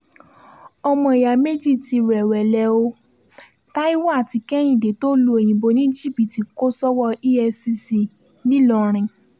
ọmọ ìyá méjì tí rẹ̀wẹ̀lẹ̀ ò taiwo àti kehìndé tó lu òyìnbó ní jìbìtì kò sọ́wọ́ efcc nìlọrin